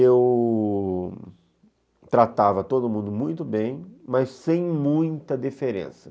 Eu tratava todo mundo muito bem, mas sem muita diferença.